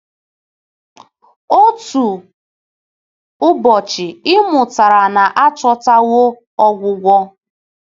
Otu ụbọchị, ị mụtara na a chọtawo ọgwụgwọ!